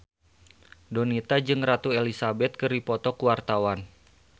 Donita jeung Ratu Elizabeth keur dipoto ku wartawan